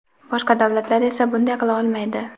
boshqa davlatlar esa bunday qila olmaydi.